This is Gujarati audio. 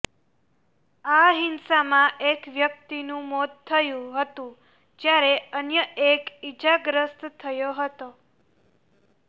આ હિંસામાં એક વ્યક્તિનું મોત થયું હતું જ્યારે અન્ય એક ઈજાગ્રસ્ત થયો હતો